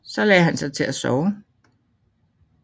Så lagde han sig til at sove